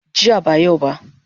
Jiya ba yau ba